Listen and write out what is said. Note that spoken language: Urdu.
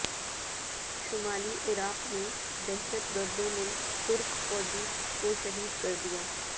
شمالی عراق میں دہشت گردوں نے ترک فوجی کو شہید کر دیا